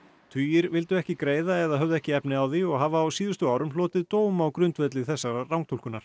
tugir vildu ekki greiða eða höfðu ekki efni á því og hafa á síðustu árum hlotið dóm á grundvelli þessarar rangtúlkunar